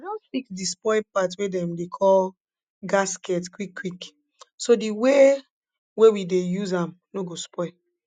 i don fix di spoil part wey dem dey call gasket quick quick so di way wey we dey use am no go spoil